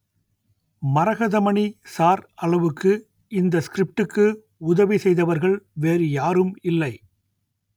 Maragathamani sir அளவுக்கு இந்த ஸ்கிரிப்டுக்கு உதவி செய்தவர்கள் வேறு யாரும் இல்லை